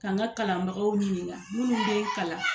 K'an ka kalanbagaw ɲininka minnu bɛ kalan